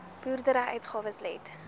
boerdery uitgawes let